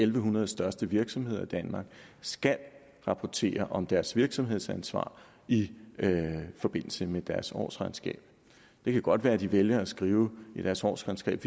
en hundrede største virksomheder i danmark skal rapportere om deres virksomhedsansvar i forbindelse med deres årsregnskab det kan godt være at de vælger at skrive i deres årsregnskab